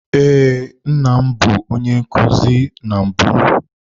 Ee, nna m bụ onye nkuzi na mbụ.